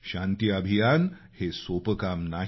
शांतीअभियान हे सोपं काम नाही